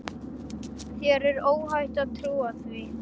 Þér er óhætt að trúa því.